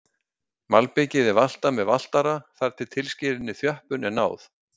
Malbikið er valtað með valtara þar til tilskilinni þjöppun er náð.